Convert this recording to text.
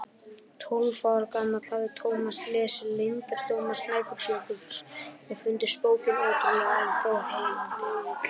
Tólf ára gamall hafði Thomas lesið Leyndardóma Snæfellsjökuls og fundist bókin ótrúleg en þó heillandi.